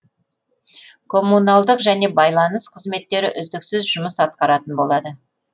коммуналдық және байланыс қызметтері үздіксіз жұмыс атқаратын болады